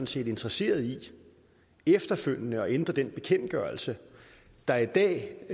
set interesseret i efterfølgende at ændre den bekendtgørelse der i dag